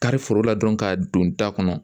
Kari foro la dɔrɔn ka don da kɔnɔ